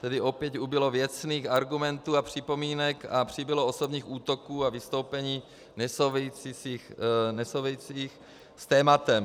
Tedy opět ubylo věcných argumentů a připomínek a přibylo osobních útoků a vystoupení nesouvisejících s tématem.